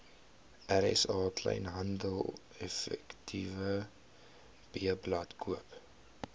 rsa kleinhandeleffektewebblad koop